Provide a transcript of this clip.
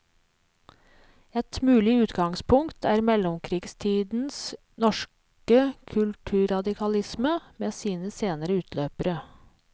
Ett mulig utgangspunkt er mellomkrigstidens norske kulturradikalisme, med sine senere utløpere.